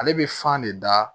Ale bɛ fan de da